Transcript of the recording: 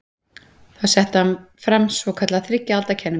Þá setti hann fram svokallaða þriggja alda kenningu.